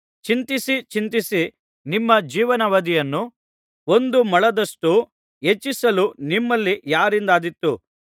ಚಿಂತಿಸಿ ಚಿಂತಿಸಿ ನಿಮ್ಮ ಜೀವನಾವಧಿಯನ್ನು ಒಂದು ಮೊಳದಷ್ಟು ಹೆಚ್ಚಿಸಲು ನಿಮ್ಮಲ್ಲಿ ಯಾರಿಂದಾದೀತು